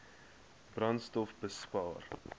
brandstofbespaar